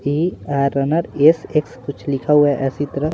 ई R runner S X कुछ लिखा हुआ है ऐसी तरह--